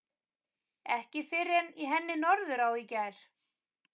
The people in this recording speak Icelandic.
Ekki fyrr en í henni Norðurá í gær.